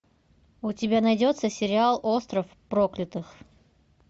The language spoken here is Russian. у тебя найдется сериал остров проклятых